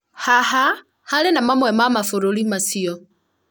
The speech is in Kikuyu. haha harĩ na mamwe ma mabũrũri macio